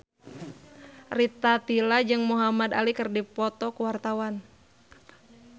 Rita Tila jeung Muhamad Ali keur dipoto ku wartawan